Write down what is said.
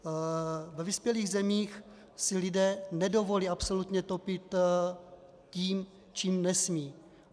Ve vyspělých zemích si lidé nedovolí absolutně topit tím, čím nesmí.